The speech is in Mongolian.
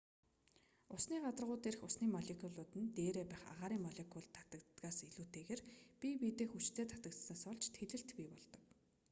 усны гадаргуу дээрх усны молекулууд нь дээрээ байх агаарын молекулд татагддагаас илүүтэйгээр бие биедээ хүчтэй татагдсанаас болж тэлэлт бий болдог